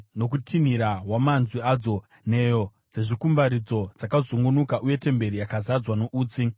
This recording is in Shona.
Nokutinhira kwamanzwi adzo, nheyo dzezvikumbaridzo dzakazungunuka uye temberi yakazadzwa noutsi.